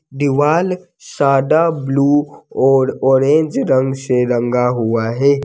दिवाल सादा ब्ल्यू और ऑरेंज रंग से रंगा हुआ है।